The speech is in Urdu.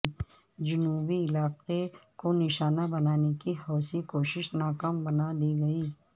جنوبی علاقے کو نشانہ بنانے کی حوثی کوشش ناکام بنادی گئی